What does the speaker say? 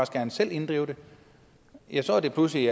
gerne selv vil inddrive det ja så er det pludselig